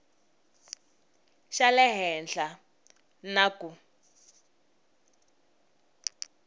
xa le henhla na ku